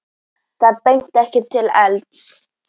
Þá benti ekkert til elds.